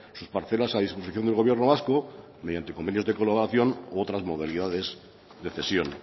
sus parcelas a disposición de gobierno vasco mediante convenios de colaboración u otras modalidades de cesión